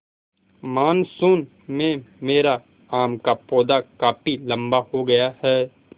monsoon में मेरा आम का पौधा काफी लम्बा हो गया है